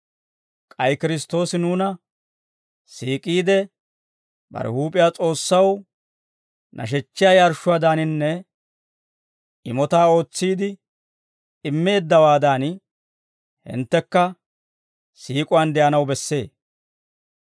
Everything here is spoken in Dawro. K'ay Kiristtoosi nuuna siik'iide, bare huup'iyaa S'oossaw nashechchiyaa yarshshuwaadaaninne imotaa ootsiide immeeddawaadan, hinttekka siik'uwaan de'anaw bessee.